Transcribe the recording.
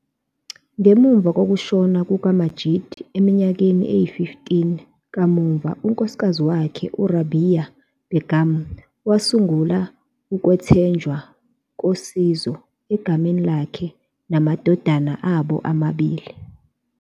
Ngemuva kokushona kukaMajeed eminyakeni eyi-15 kamuva, unkosikazi wakhe uRabea Begum wasungula ukwethenjwa kosizo egameni lakhe nangamadodana abo amabili.